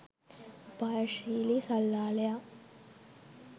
උපායශීලී සල්ලාලයා